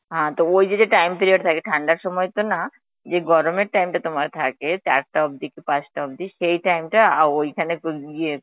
হা তা ওই যে যে time period থাকে থাদার সময় তো না, যে গরমের time টা তোমার থাকে চারটা অবধি কি পাচটা অবধি সেই time টা আ~ ঐখানে উম ইয়ে